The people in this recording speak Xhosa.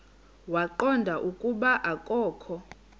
waqonda ukuba akokho